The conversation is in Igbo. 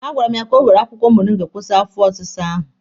A gwara m gị ka ị were akwụkwọ moringa kwụsị afọ ọsịsa ahụ!